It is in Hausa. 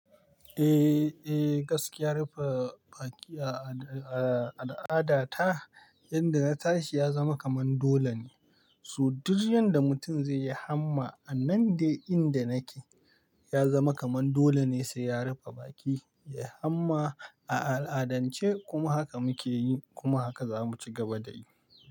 Eh, gaskiya ya rufe baki a al'adata. Yanda na tashi ya zama kaman dole ne. So duk yanda mutum zai yi hamma a nan dai inda nake ya zama kaman dole ne sai ya rufe baki, yai hamma a al'adance kuma haka muke yi kuma haka za mu ci gaba da yi.